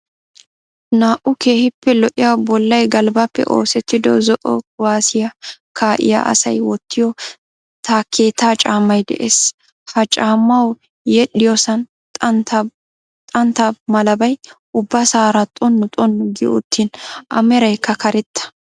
Naa''u keehiippe lo''iya bollay galbbappe oosettido zo"o kuwaasiya kaa'iya asay wottiyo takkeetaa caammay de'ees. Ha caammawu yedhdhiyosan xantta malabay ubbasara xonu xonu gi uttin a meraykka karetta.